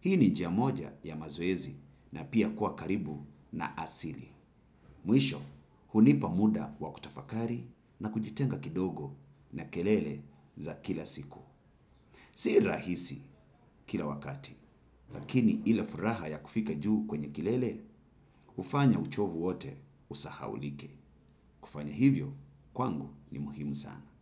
hii ni njia moja ya mazoezi na pia kuwa karibu na asili. Mwisho, hunipa muda wa kutafakari na kujitenga kidogo na kelele za kila siku. Si rahisi kila wakati lakini ile furaha ya kufika juu kwenye kilele hufanya uchovu wote usahaulike kufanya hivyo, kwangu ni muhimu sana.